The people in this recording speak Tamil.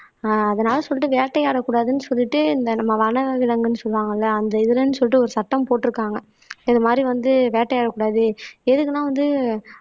ஆஹ் அதனால சொல்லிட்டு வேட்டையாடக் கூடாதுன்னு சொல்லிட்டு இந்த நம்ம வனவிலங்குன்னு சொல்லுவாங்க இல்லை அந்த இதுலன்னு சொல்லிட்டு ஒரு சத்தம் போட்டிருக்காங்க இது மாதிரி வந்து வேட்டையாடக்கூடாது எதுக்குன்னா வந்து